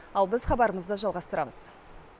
ал біз хабарымызды жалғастырамыз